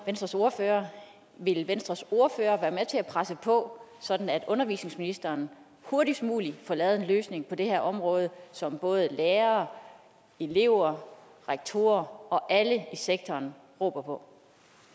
venstres ordfører vil venstres ordfører være med til at presse på sådan at undervisningsministeren hurtigst muligt får lavet en løsning på det her område som både lærere elever rektorer og alle i sektoren råber på